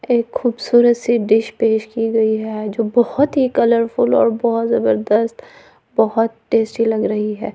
एक खूबसूरत सी डिश पेश की गई है जो बोहोत ही कलरफुल और भोत जबरजस्त बोहोत टेस्टी लग रही है।